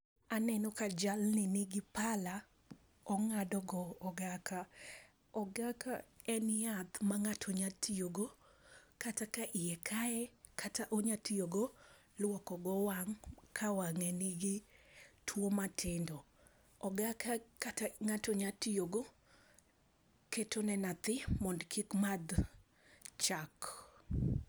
Aneno ka jalni nigi pala ong'ado go ogaka . Ogaka en yath ma ng'ato nya tiyo go kata ka iye kaye kata onya tiyo go luoko go wang' ka wang'e nigi tuo matindo. Ogaka kato ng'ato nya tiyo go keto ne nyathi mondo kik madh chak.